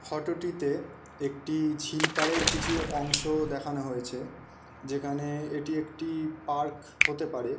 ফোটোটিতে একটি ঝিল পার এর কিছু অংশ দেখানো হয়েছে যেখানে এটি একটি পার্ক হতে পারে।